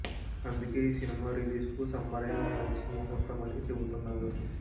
అందుకే ఈ సినిమా రిలీజ్కు సమ్మరే మంచి మూహూర్తం అని చెబుతున్నారు